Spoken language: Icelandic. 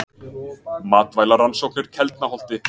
Matvælarannsóknir Keldnaholti.